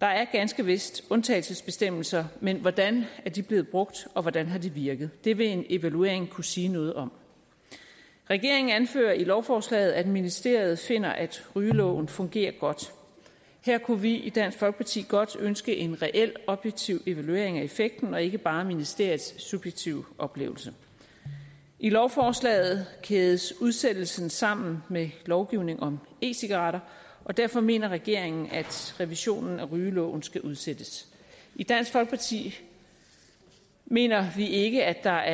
der er ganske vist undtagelsesbestemmelser men hvordan er de blev brugt og hvordan har de virket det vil en evaluering kunne sige noget om regeringen anfører i lovforslaget at ministeriet finder at rygeloven fungerer godt her kunne vi i dansk folkeparti godt ønske en reel objektiv evaluering af effekten og ikke bare ministeriets subjektive oplevelse i lovforslaget kædes udsættelsen sammen med lovgivning om e cigaretter og derfor mener regeringen at revisionen af rygeloven skal udsættes i dansk folkeparti mener vi ikke at der